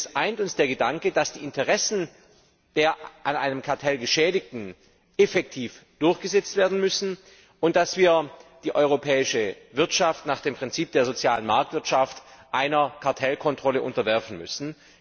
Denn uns eint der Gedanke, dass die Interessen der durch ein Kartell Geschädigten effektiv durchgesetzt werden müssen und dass wir die europäische Wirtschaft nach dem Prinzip der sozialen Marktwirtschaft einer Kartellkontrolle unterwerfen müssen.